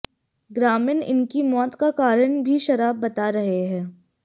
ग्रामीण इनकी मौत का कारण भी शराब बता रहे हैं